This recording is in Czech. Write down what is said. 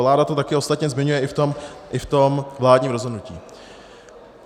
Vláda to také ostatně zmiňuje i v tom vládním rozhodnutí.